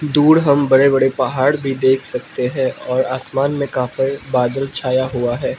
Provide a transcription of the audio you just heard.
दूर हम बड़े बड़े पहाड़ भी देख सकते हैं और आसमान में काफी बादल छाया हुआ है।